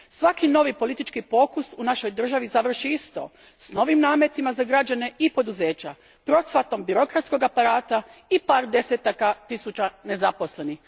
Svaki novi politički pokus u našoj državi završi isto s novim nametima za građane i poduzeća, procvatom birokratskog aparata i par desetaka tisuća nezaposlenih.